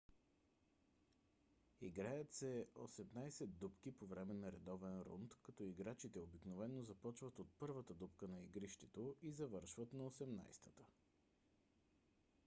играят се осемнадесет дупки по време на редовен рунд като играчите обикновено започват от първата дупка на игрището и завършват на осемнадесетата